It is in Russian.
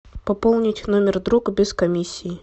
пополнить номер друга без комиссии